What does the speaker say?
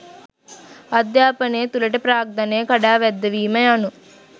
අධ්‍යාපනය තුළට ප්‍රාග්ධනය කඩාවැද්දවීම යනු